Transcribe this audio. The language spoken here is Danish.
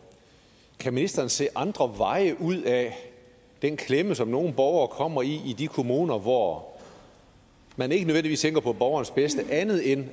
kan ministeren se andre veje ud af den klemme som nogle borgere kommer i i de kommuner hvor man ikke nødvendigvis tænker på borgerens bedste andet end